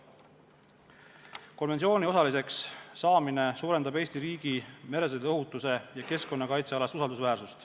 Konventsiooni osaliseks saamine suurendab Eesti riigi usaldusväärsust meresõiduohutuse ja keskkonnakaitse alal.